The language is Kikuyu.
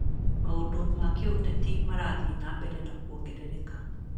Maũndũ ma kĩũteti marathiĩ na mbere kuongerereka.